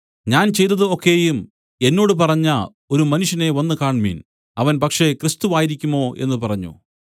ഞാൻ ചെയ്തതു ഒക്കെയും എന്നോട് പറഞ്ഞ ഒരു മനുഷ്യനെ വന്നുകാണ്മിൻ അവൻ പക്ഷേ ക്രിസ്തു ആയിരിക്കുമോ എന്നു പറഞ്ഞു